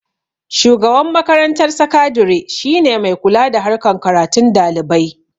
shugaban makarantar sakadire shine mai kula da harkan karatun dalibai